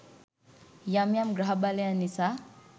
යම් යම් ග්‍රහ බලයන් නිසා